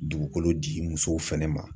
Dugukolo di musow fɛnɛ ma.